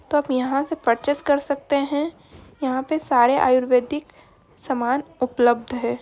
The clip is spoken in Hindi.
तोअप यहाँ से परचेज़ कर सकते हैं यहाँ पे सारे आयुर्वेदिक सामान उपलब्ध हैं।